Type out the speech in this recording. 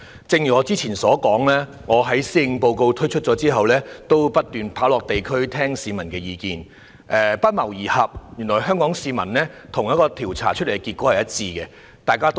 正如我之前說過，我在施政報告發表後不斷落區聆聽市民的意見，發現原來香港市民的意見與一項調查結果不謀而合。